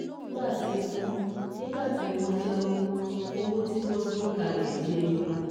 Nígbà tí wọ́n Nígbà tí wọ́n jáwó, owó tí wọ́n gbé kalẹ̀ jẹyọ